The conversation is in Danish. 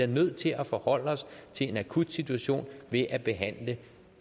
nødt til at forholde os til en akut situation ved at behandle